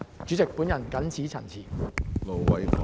主席，我謹此陳辭。